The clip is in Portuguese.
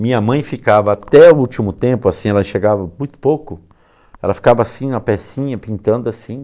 Minha mãe ficava até o último tempo, assim, ela chegava muito pouco, ela ficava assim na pecinha, pintando assim.